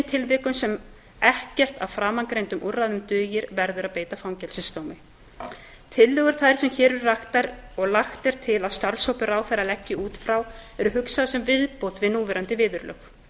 tilvikum sem ekkert af framangreindum úrræðum dugir verður að beita fangelsisdómi tillögur þær sem hér eru raktar og lagt er til að starfshópur ráðherra leggi út frá eru hugsaðar sem viðbót við núverandi viðurlög